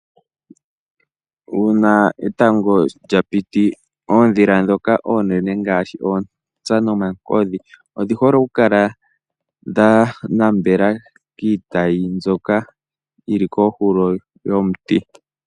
Uuna etango lyapiti, ondhila dhoka onene ngashi oontsa nomakodhi, odhi hole okukala dhanambela kiitayi mbyoka yili kohulo yomuti.